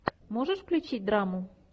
можешь включить драму